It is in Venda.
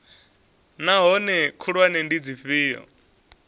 naa hoea khulwane ndi dzifhio